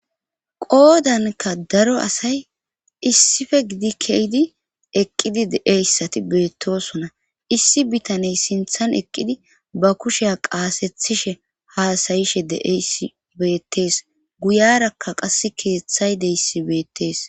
Qoodanka daro asay issife gidi keydi eqqidi deeyssati beettosona issi bitaney sinthan eqqidi ba kusheya qaasethishe haasayishe deey beettees guyarakka qass keeththay deyssi beettees